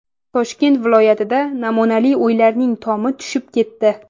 Toshkent viloyatida namunali uylarning tomi tushib ketdi.